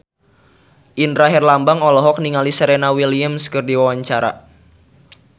Indra Herlambang olohok ningali Serena Williams keur diwawancara